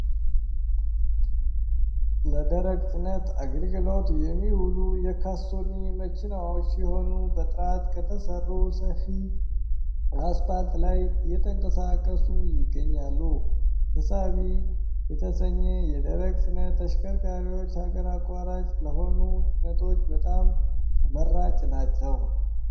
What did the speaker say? ለደረቅ ጭነት አገልግሎት የሚውሉ የካሶኒ መኪናዎች ሲሆኑ በጥራት ከተሰሩ ሰፊ አስፓልት ላይ እየተንቀሳቀሱ ይገኛሉ። ተሳቢ የተሰኚ የደረቅ ጭነት ተሽከርካሪዎች ሀገር አቋራጭ ለሆኑ ጭነቶች በጣም ተመራጭ ናቸው።